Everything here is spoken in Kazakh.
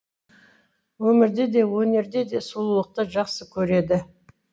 өмірде де өнерде де сұлулықты жақсы көреді